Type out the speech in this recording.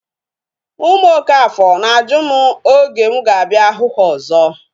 Ụmụ okafor na-ajụ m oge mụ ga-abịa hụ ha ọzọ